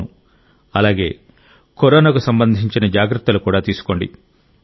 అవును అలాగే కరోనాకు సంబంధించిన జాగ్రత్తలు తీసుకోండి